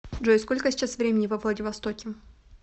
джой сколько сейчас времени во владивостоке